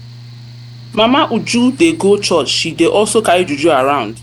mama uju dey go church she dey also carry juju around.